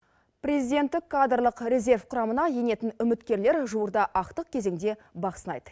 президенттік кадрлық резерв құрамына енетін үміткерлер жуырда ақтық кезеңде бақ сынайды